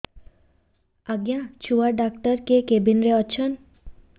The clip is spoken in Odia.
ଆଜ୍ଞା ଛୁଆ ଡାକ୍ତର କେ କେବିନ୍ ରେ ଅଛନ୍